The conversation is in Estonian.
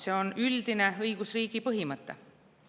See on üldine õigusriigi põhimõte.